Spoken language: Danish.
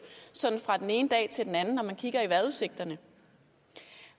sådan fra den ene dag til den anden når man kigger i vejrudsigterne